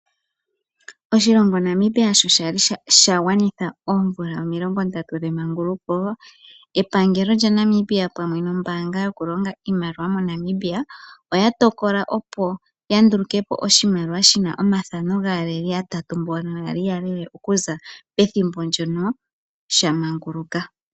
Oshilongo Namibia sho shali sha gwanitha oomvula omilongo ndatu dhemaanguluko. Epangelo lyaNamibia pamwe nombaanga yokulonga iimaliwa moNamibia oya tokola opo yandulukepo oshimaliwa shi na omathano gaaleli yatatu mbono yali yalele okuza pethimbo mpono sha maanguluka.